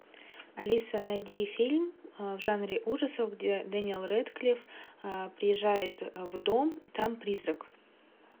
алиса найди фильм в жанре ужасов где дэниел рэдклифф приезжает в дом и там призрак